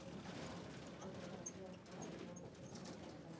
ஏது பண்ணலாம் அப்படின்னு சொல்லிட்டு ஏதாவது idea இருந்தா சொல்லு அதுக்கு ஏத்த மாதிரி பண்ணிக்கலாம்.